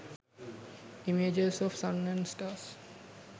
images of sun and stars